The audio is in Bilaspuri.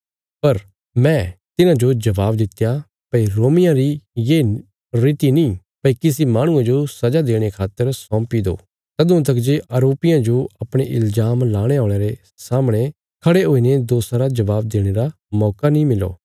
पर मैं तिन्हांजो जवाब दित्या भई रोमियां री ये रीति नीं भई किसी माहणुये जो सजा देणे खातर सौंपी देओ तदुआं तका जे आरोपिये जो अपणे इल्जाम लाणे औल़यां रे सामणे खड़े हुईने दोषा रा जवाब देणे रा मौका नीं मिलो